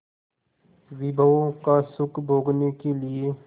विभवों का सुख भोगने के लिए